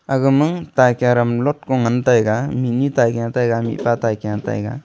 aga ma taikiya ram lot ko ngan taega mihnye taigian taega mihpa taigian taega.